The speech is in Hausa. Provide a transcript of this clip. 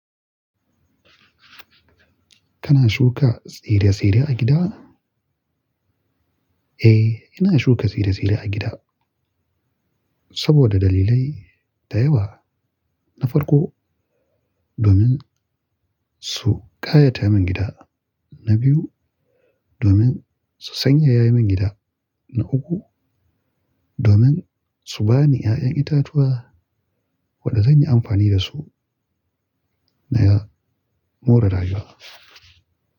Kana shuka tsire-tsire a gida? Eh, ina shuka tsire-tsire a gida saboda dalilai da yawa. Na farko, domin su kayata min gida. Na biyu, domin su sanyaya min gida. Na uku, domin su bani 'ya'yan itatuwa waɗanda zan yi amfani da su. Na ya mu da raga.